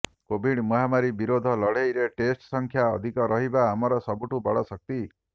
Covid ମହାମାରୀ ବିରୋଧ ଲଢେଇରେ ଟେଷ୍ଟ ସଂଖ୍ୟା ଅଧିକ ରହିବା ଆମର ସବୁଠୁ ବଡ ଶକ୍ତି